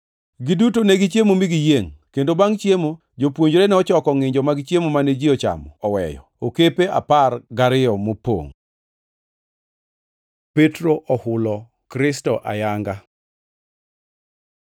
Giduto negichiemo mi giyiengʼ, kendo bangʼ chiemo jopuonjre nochoko ngʼinjo mag chiemo mane ji ochamo oweyo okepe apar gariyo mopongʼ. Petro ohulo Kristo ayanga